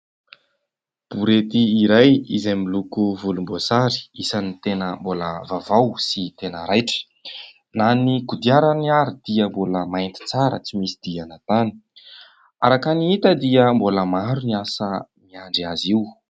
Borety iray izay miloko volomboasary isany tena mbola vaovao sy tena raitra na ny kodiarany ary dia mbola mainty tsara tsy misy diana tany ; araka ny hita dia mbola maro ny asa miandry azy io.